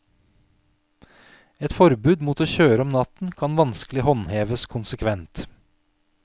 Et forbud mot å kjøre om natten kan vanskelig håndheves konsekvent.